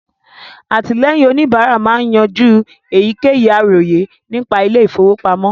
Àtìlẹ́yìn òníbárà máa ń yanjú èyíkéyìí àròyé nípa ilé ìfọwọ́pamọ́